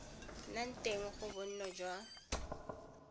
nna teng ga bonno jwa